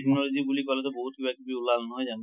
technology বুলি কলে তোন বহুত কিবি কিবি ওলাল নহয় যানো?